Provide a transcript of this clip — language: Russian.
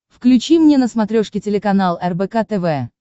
включи мне на смотрешке телеканал рбк тв